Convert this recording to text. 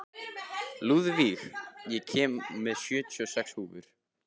Lúðvíg, ég kom með sjötíu og sex húfur!